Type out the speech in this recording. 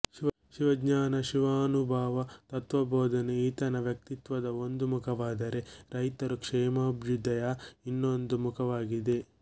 ಶಿವಜ್ಞಾನ ಶಿವಾನುಭವ ತತ್ತ್ವಬೋಧನೆ ಈತನ ವ್ಯಕ್ತಿತ್ವದ ಒಂದು ಮುಖವಾದರೆ ರೈತರ ಕ್ಷೇಮಾಭ್ಯುದಯ ಇನ್ನೊಂದು ಮುಖವಾಗಿತ್ತು